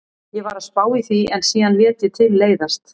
Ég var að spá í því en síðan lét ég til leiðast.